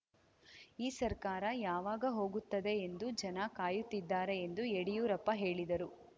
ಈ ಸರ್ಕಾರ ಯಾವಾಗ ಹೋಗುತ್ತದೆ ಎಂದು ಜನ ಕಾಯುತ್ತಿದ್ದಾರೆ ಎಂದು ಯಡಿಯೂರಪ್ಪ ಹೇಳಿದರು